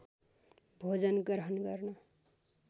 भोजन ग्रहण गर्न